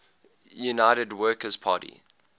united workers party